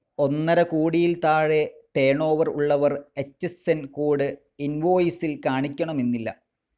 ഒന്നരകോടിയിൽ താഴെ ടർണോവർ ഉള്ളവർ H S N code ഇൻവോയിസിൽ കാണിക്കണമെന്നില്ല.